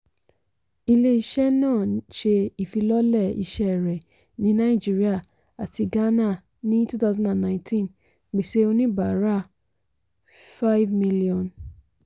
ilé-iṣẹ́ náà ṣé ifilọlẹ iṣẹ́ rẹ ní naijiría àti gàànà ní 2019 pèsè oníbàárà 5000000.